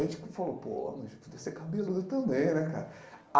Aí a gente falou, pô, mas tu deve ser cabeludo também, né, cara?